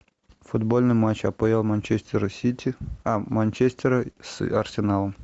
футбольный матч апл манчестера сити а манчестера с арсеналом